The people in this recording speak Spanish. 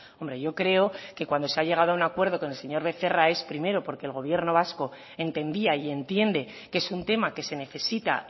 hombre yo creo que cuando se ha llegado a un acuerdo con el señor becerra es primero porque el gobierno vasco entendía y entiende que es un tema que se necesita